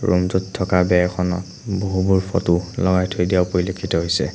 ৰূমটোত থকা বেৰখনত বহুবোৰ ফটো লগাই থৈ দিয়াও পৰিলক্ষিত হৈছে।